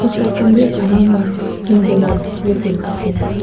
side khan te bhi saman khan hang kori kina display kori na ase.